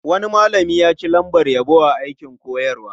Wani malami ya ci lambar yabo a aikin koyarwa.